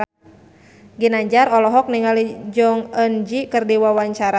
Ginanjar olohok ningali Jong Eun Ji keur diwawancara